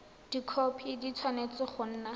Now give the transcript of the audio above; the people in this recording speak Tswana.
dikhopi di tshwanetse go nna